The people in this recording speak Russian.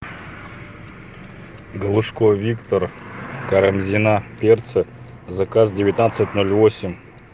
галушко виктор карамзина перцы заказ девятнадцать ноль восемь